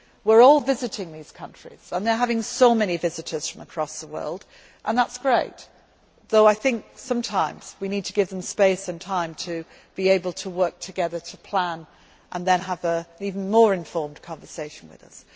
We are all visiting these countries, and they have so many visitors from across the world, and that is great though I think sometimes we need to give them space and time to be able to work together to plan and then have an even more informed conversation with